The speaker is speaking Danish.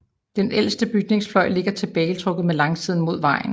Den ældste bygningsfløj ligger tilbagetrukket med langsiden mod vejen